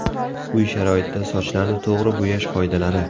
Uy sharoitida sochlarni to‘g‘ri bo‘yash qoidalari.